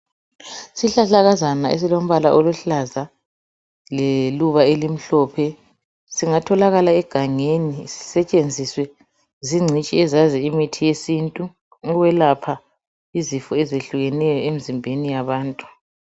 Yizihlahlakazana esilombala oluhlaza leluba elimhlophe singatholakala egangeni sisetshenziswe zingcitshi ezaziyo imithi yesintu ukwelapha izifo ezehlukeneyo emzimbeni yabantu